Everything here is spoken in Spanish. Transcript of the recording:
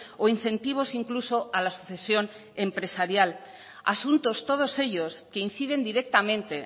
o incentivos incluso a la sucesión empresarial asuntos todos ellos que inciden directamente